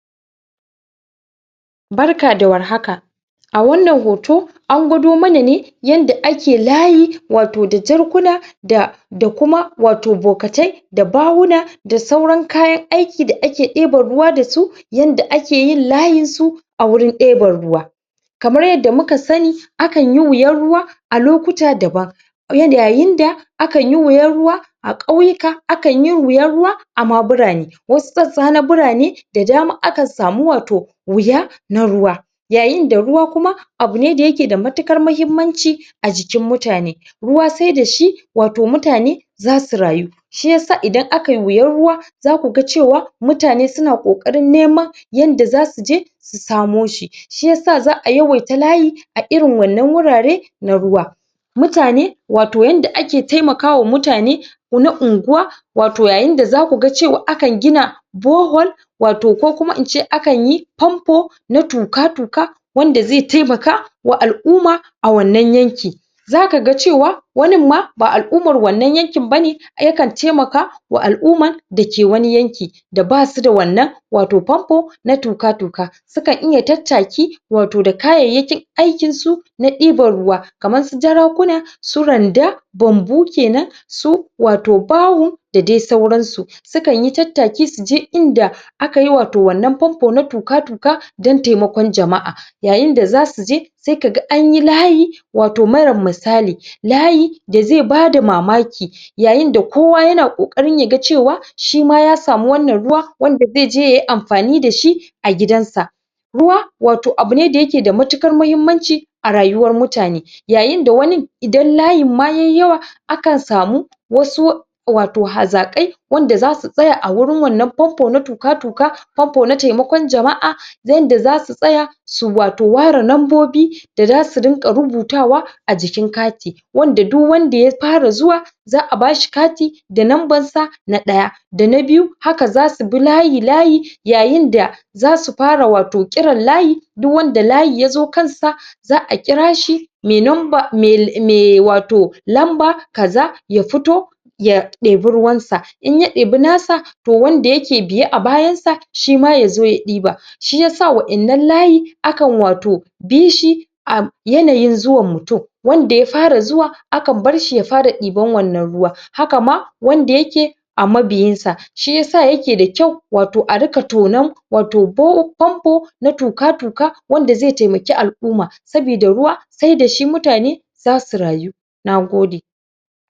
Barka da warhaka a wannan hoto an gwado mana ne yanda ake layi wato da jarkuna da kuma wato bukitai da bahuna da sauran kayan aiki da ake ɗeban ruwa dasu yanda ake yin layinsu a wajen ɗeban ruwa kamar yadda muka sani akanyi wiyan ruwa a lukuta daban yayin da akan yi wiyan ruwa a Ƙauyuka akanyi wiyan ruwa ama birane wasu sassa na birane da dama akan sami wato wiya na ruwa yayin da ruwa kuma abune da yake da matuƘar muhimmanci a jikin mutane ruwa saida shi wato mutane zasu rayu shiyasa idan akayi wiyan ruwa zakuga cewa mutane suna kokarin nema yanda zasuje su samo shi shiyasa za'a yawaita layi a irin wannan wurare na ruwa mutane................. wato yanda ake taimaka wa mutane na unguwa wato yayin da zakuga akan gina borehole wato kukuma ince akanyi pampo na tuƘa-tuƘa wanda zai taimaka wa al'umma a wanna yanki zakaga cewa wanin ma ba al'umaman wannan yanki bane yakan taimaka wa al'umman dake wani yankin da basuda wato pampo na tuƘa-tuƘa sukan iya tattaki wato da kayyaki aikin su na dibna ruwa kamar su jarakuna su randa bambu kenan su... wato bahun dadai auransu sukan yi tattaki suje inda akayi wato wannan pampo na tuƘa-tuƘa dan taimakon jama'a yayin da zasuje sai kaga anyi layi wato mara misali layi dazi bada mamaki yayin da kuwa yana kokari yaga cewa shima ya sami wannan ruwa wanda zaije yay amfani dashi a gidansa ruwa wato abune da yake da matukar muhimmanci a rayuwar mutane yayin da wani idan layin ma yayi rawa akan samu wasu wato hazakai wanda zasu tsaya a wajen wannan pampo na tuƘa-tuƘa pampo na taimakon jama'a yanda zasu tsaya su wato ware nambobi da sazu rinka rubutawa a jikin kati wanda duk wanda ya fara zuwa za'a bashi kati da nambar sa na daya dana biyu haka zasu bi layi layi yayinda zasu fara wato kiran layi duk wanda layi yazo kansa za'a kirashi mai lamba, mai mai wato........ lamba kaza ya fito ya ɗibe ruwansa inya ɗibe nasa to wanda yake biye a bayan sa shima yazo ya ɗiba shiyasa wa'annan layi a kan wato bishi a yananyin zuwan mutum wanda ya fara zuwa a kan barshi ya fara diban wannan ruwa haka ma wanda yake a mabiyin sa, shiyasa yake da kyau, wato a riƘa tonon wato pampo na tuƘa-tuƘa wanda zai taimake al'umma sabida ruwa saida shi mutane zasu rayu Nagode.